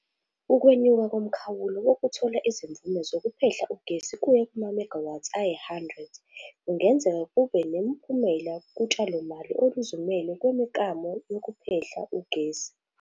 Ukwenyuka komkhawulo wokuthola izimvume zokuphehla ugesi kuya kuma-megawatts ayi-100 kungenzeka kube nomphumela kutshalomali oluzimele kwimiklamo yokuphehla ugesi.